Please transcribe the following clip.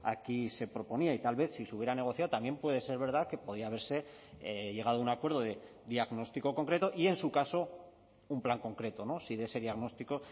aquí se proponía y tal vez si se hubiera negociado también puede ser verdad que podía haberse llegado a un acuerdo de diagnóstico concreto y en su caso un plan concreto si de ese diagnóstico